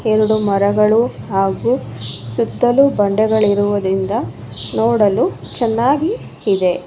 ಎರಡು ಮರಗಳು ಹಾಗೂ ಸುತ್ತಲೂ ಬಂಡೆಗಳಿರುವುದರಿಂದ ನೋಡಲು ಚೆನ್ನಾಗಿ ಇದೆ.